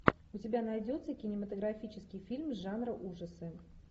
у тебя найдется кинематографический фильм жанра ужасы